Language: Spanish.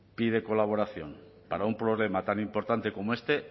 pide colaboración para un problema tan importante como este